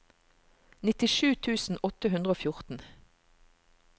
nittisju tusen åtte hundre og fjorten